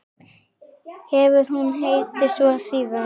Hefur hún heitið svo síðan.